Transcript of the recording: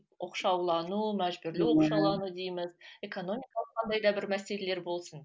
оқшаулану мәжбүрлі оқшаулану дейміз экономикалық қандай да бір мәселелер болсын